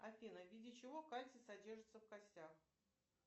афина в виде чего кальций содержится в костях